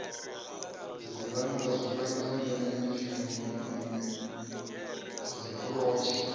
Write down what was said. dzigurannḓa zwifanyiso mbekanyamishumo na dziburotsha